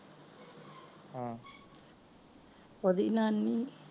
ਓਹਦੀ ਨਾਨੀ